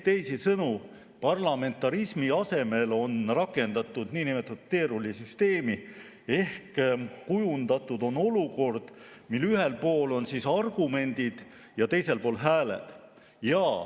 Teisisõnu, parlamentarismi asemel on rakendatud niinimetatud teerullisüsteemi ehk kujundatud on olukord, kus ühel pool on argumendid ja teisel pool hääled.